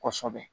Kɔsɛbɛ